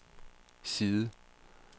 side